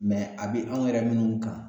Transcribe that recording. mɛ a be an yɛrɛ munnu kan